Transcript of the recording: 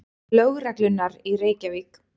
Lögreglunnar í Reykjavík.